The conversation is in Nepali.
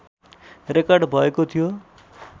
रेकर्ड भएको थियो